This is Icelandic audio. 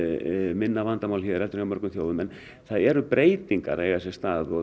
minna vandamál hér en hjá mörgum þjóðum en það eru breytingar að eiga sér stað og